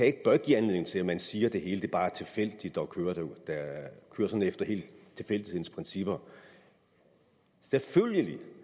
ikke give anledning til at man siger at det hele bare er tilfældigt og kører efter tilfældighedens principper selvfølgelig